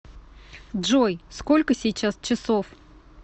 джой сколько сейчас часов